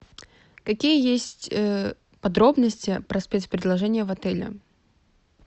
какие есть подробности про спецпредложения в отеле